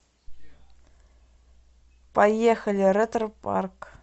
поехали ретропарк